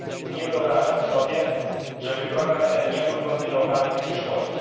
Nie wyobrażam sobie, żeby program ten nie był kontynuowany w przyszłości.